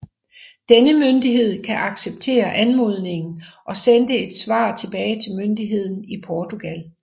Denne myndighed kan acceptere anmodningen og sende et svar tilbage til myndigheden i Portugal